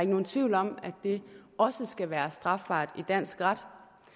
nogen tvivl om at det også skal være strafbart i dansk ret